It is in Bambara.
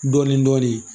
Dɔɔnin dɔɔnin